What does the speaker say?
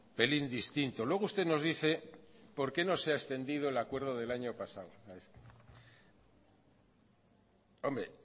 pelín distinto luego usted nos dice por qué no se ha extendido el acuerdo del año pasado hombre